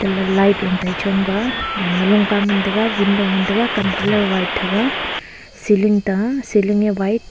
light low tai chong ga gaman ma lunka ngan tega window kam colour white thega ceiling ta ceiling a white .